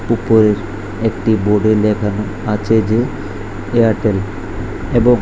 উপরে একটি বোর্ডে -এ লেখানো আছে যে এয়ারটেল এবং--